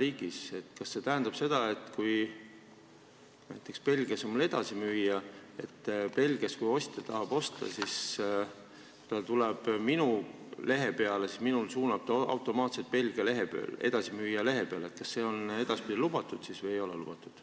riigis, kas siis see, kui mul on edasimüüja näiteks Belgias ja kui Belgia ostja tahab osta, siis ta tuleb minu lehe peale ja see suunab ta automaatselt Belgia edasimüüja lehele, on edaspidi lubatud või ei ole?